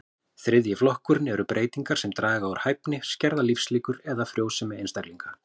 Þriðji flokkurinn eru breytingar sem draga úr hæfni, skerða lífslíkur eða frjósemi einstaklinga.